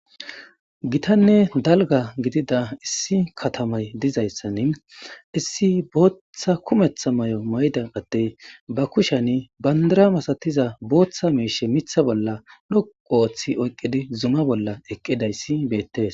gitanne dalga gidida issi katamay dizayssani issi boothhhtha kumetha may7o mayda addey ba kushan bandara masatiza booththa meeshe mitha bolla dhouu ooththi oyqqidi zuma bolla eqqidayssi beettes